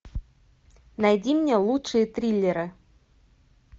найди мне лучшие триллеры